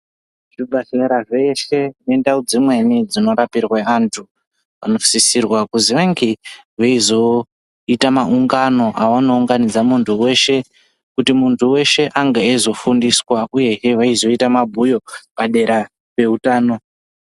Zvibhahlera zveshe nendau dzimweni dzinorapirwe antu, anosisirwa kuzi ange eizoita maungano avanounganidza muntu weshe kuti muntu weshe ange eizofundiswa uye veizoita mabhuyo padera peutano.